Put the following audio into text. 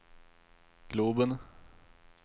globen